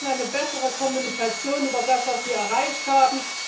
Wir brauchen eine bessere Kommunikation über das, was wir erreicht haben.